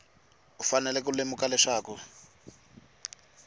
u fanele ku lemuka leswaku